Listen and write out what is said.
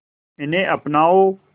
इन्हें अपनाओ